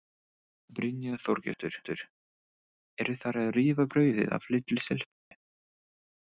Brynja Þorgeirsdóttir: Eru þær að rífa brauðið af litlu stelpunni?